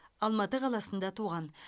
алматы қаласында туған